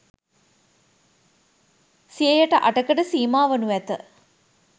සියයට අටකට සීමා වනු ඇත